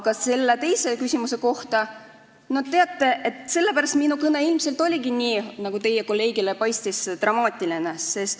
Aga selle teise küsimuse kohta ütlen, et no teate, sellepärast minu kõne ilmselt paistiski teie kolleegile nii dramaatiline.